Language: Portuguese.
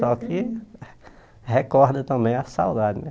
Só que recorda também a saudade né